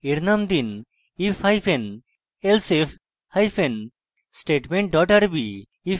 এর name দিন if hyphen elsif hyphen statement dot rb